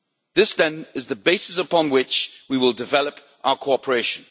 This, then, is the basis upon which we will develop our cooperation.